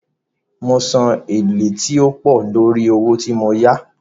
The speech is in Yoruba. Mo san èlé tí ó pọ̀ lórí owó tí mo yá.